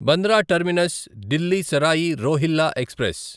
Bandra terminus Delhi Sarai Rohilla express